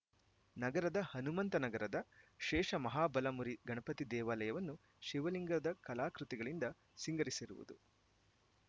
ನಗರದ ಹನುಮಂತನಗರದ ಶೇಷಮಹಾಬಲಮುರಿ ಗಣಪತಿ ದೇವಾಲಯವನ್ನು ಶಿವಲಿಂಗದ ಕಲಾಕೃತಿಗಳಿಂದ ಸಿಂಗರಿಸಿರುವುದು